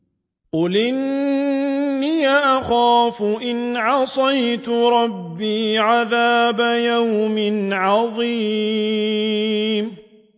قُلْ إِنِّي أَخَافُ إِنْ عَصَيْتُ رَبِّي عَذَابَ يَوْمٍ عَظِيمٍ